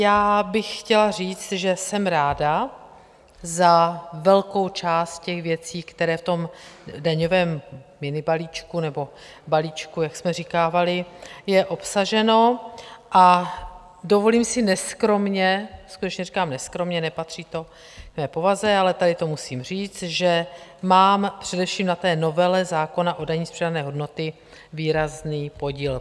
Já bych chtěla říct, že jsem ráda za velkou část těch věcí, které v tom daňovém minibalíčku nebo balíčku, jak jsme říkávali, je obsaženo, a dovolím si neskromně, skutečně říkám neskromně, nepatří to k mé povaze, ale tady to musím říct, že mám především na té novele zákona o dani z přidané hodnoty výrazný podíl.